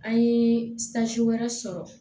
An ye wɛrɛ sɔrɔ